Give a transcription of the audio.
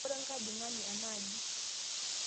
Kobore nkajing'ani ana aji